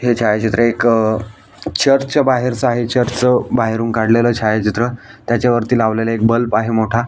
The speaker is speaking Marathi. हे छायाचित्र एक चर्च च्या बाहेरच आहे चर्चच बाहेरून काढलेल छायाचित्र त्याच्यावरती लावलेल एक बल्ब आहे मोठा.